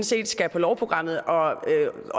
set skal på lovprogrammet og